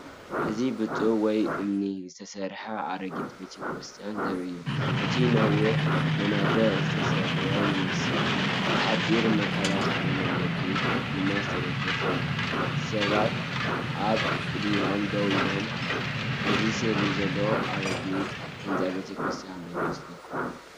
እዚ ብጡብ ወይ እምኒ ዝተሰርሐ ኣረጊት ቤተ ክርስቲያን ዘርኢ እዩ። እቲ ነዋሕቲ መናድቕ ዝተሰብረ ይመስል፣ ብሓጺን መከላኸልን ገመድን ድማ ዝተደገፈ እዩ። ሰባትኣብ ቅድሚኦም ደው ኢሎም ኣለዉ። እዚ ስእሊ ዘሎ ኣረጊት ህንጻ ቤተ ክርስቲያን ዶ ይመስለኩም?